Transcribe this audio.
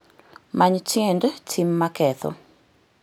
Many tiend tim ma ketho